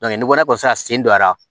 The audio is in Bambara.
ni nɔgɔ sera sen dɔ la